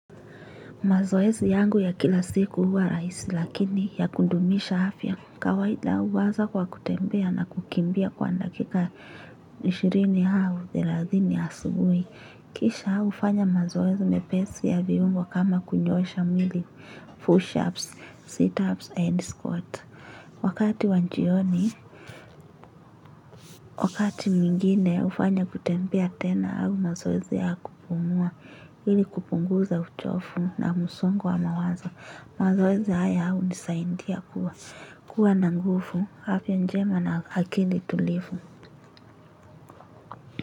Mazoezi yangu ya kila siku huwa raisi lakini ya kudumisha afya. Kawaida huwaza kwa kutembea na kukimbia kwa ndakika ishirini au thelathini asubui. Kisha hufanya mazoezi mepesi ya viungo kama kunyoosha mwili. Push ups, sit ups and squat. Wakati wa njioni, wakati mwingine hufanya kutembea tena au mazoezi ya kupumua. Ili kupunguza uchofu na musongo wa mawazo. Mazoezi haya unisaindia kuwa. Kuwa na ngufu. Hapia njema na akili tulifu.